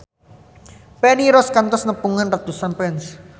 Feni Rose kantos nepungan ratusan fans